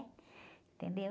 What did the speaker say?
Entendeu?